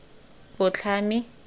botlhami